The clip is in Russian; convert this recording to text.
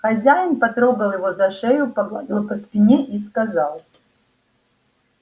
хозяин потрогал его за шею погладил по спине и сказал